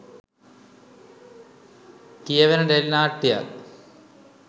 කියවෙන ටෙලි නාට්‍යයක්.